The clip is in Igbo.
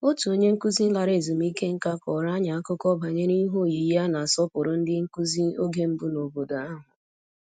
Otu onye nkụzi lara ezumike nká kọrọ anyị akụkọ banyere ihe oyiyi a na-asọpụrụ ndị nkụzi oge mbụ n'obodo ahụ